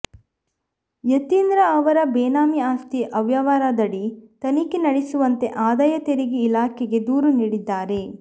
ಯತೀಂದ್ರ ಅವರ ಬೇನಾಮಿ ಆಸ್ತಿ ಅವ್ಯವಹಾರದಡಿ ತನಿಖೆ ನಡೆಸುವಂತೆ ಆದಾಯ ತೆರಿಗೆ ಇಲಾಖೆಗೆ ದೂರು ನೀಡಿದ್ದಾರೆ